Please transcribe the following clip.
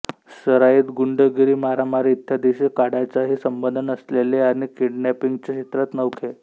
सराईत गुंडगिरी मारामारी इत्यादीशी काडीचाही संबंध नसलेले आणि किडनॅपिंगच्या क्षेत्रात नवखे